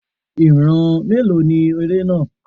Ìran mélòó ni eré náà?